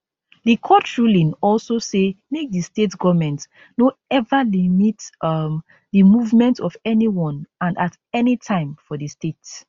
di court ruling also say make di state goment no eva limit um di movement of anyone and at anytime for di state